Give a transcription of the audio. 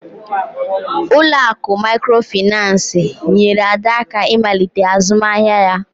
Ụlọ akụ Mikrofaịnsi nyeere Ada aka ịmalite azụmahịa ya